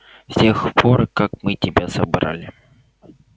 с тех пор как мы тебя собрали